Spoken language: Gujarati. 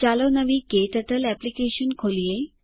ચાલો નવી ક્ટર્ટલ એપ્લિકેશન ખોલીએ